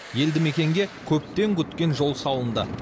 елді мекенге көптен күткен жол салынды